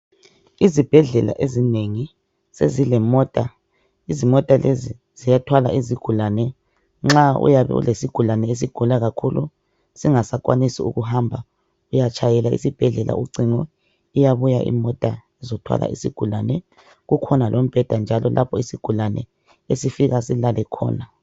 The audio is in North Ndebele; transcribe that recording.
Izibhedlela ezinengi sezilemota, izimota lezi ziyathwala izigulane nxa uyabe ulesigulane esigula kakhulu singasakwanisi kuhamba uyatshayela esibhedlela ucingo iyabuya imota izokuthwala isigulane kukhona lombheda lapho isigulane esifika silale khona